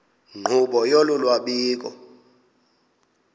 nkqubo yolu lwabiwo